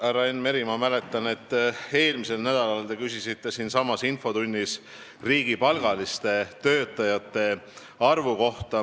Härra Enn Meri, ma mäletan, et eelmisel nädalal te küsisite siinsamas infotunnis riigipalgaliste töötajate arvu kohta.